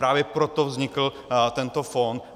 Právě proto vznikl tento fond.